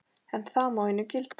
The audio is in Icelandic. En það má einu gilda.